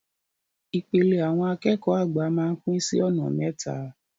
Ìpele àwọn akẹ́kọ̀ọ́ àgbà máa ń pín sí ọ̀nà mẹ́ta.